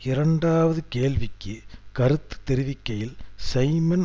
இரண்டாவது கேள்விக்கு கருத்து தெரிவிக்கையில் சைமன்